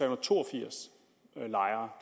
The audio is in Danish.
og to og firs lejere